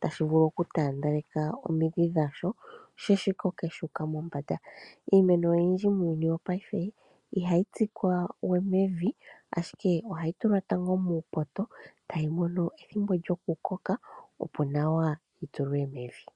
tashi vulu okutaandeleka omidhi dhasho sho shi koke shu uka mombanda. Iimeno oyindji muuyuni wopaife ihayi tsikwa we mevi ashike ohayi tulwa tango muupoto tayi mono ethimbo lyoku koka opo nawa yi tulwe mevi.